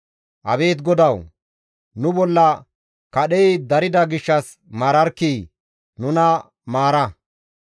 Abeet GODAWU! Nu bolla kadhey darida gishshas maararkkii! Nuna maara.